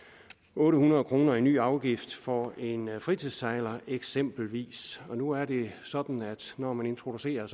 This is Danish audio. otte hundrede kroner i ny afgift for en fritidssejler eksempelvis nu er det sådan at når man introducerer